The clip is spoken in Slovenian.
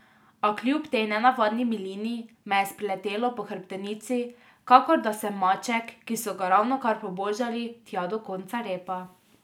A kljub tej nenavadni milini me je spreletelo po hrbtenici, kakor da sem maček, ki so ga ravnokar pobožali tja do konca repa.